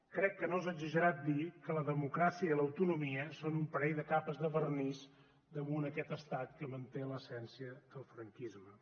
crec que no és exagerat dir que la democràcia i l’autonomia són un parell de capes de vernís damunt aquest estat que manté l’essència del franquisme